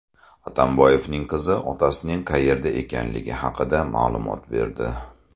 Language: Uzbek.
Atamboyevning qizi otasining qayerda ekanligi haqida ma’lumot berdi .